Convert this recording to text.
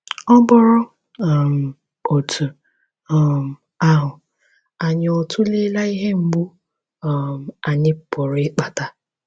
Ọ bụrụ um otú um ahụ, anyị ọ̀ tụleela ihe mgbu um anyị pụrụ ịkpata?